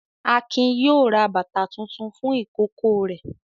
Akin yóò ra bàtá tuntun fún ìkókó rẹ̀.